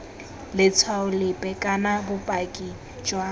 letshwao lepe kana bopaki jwa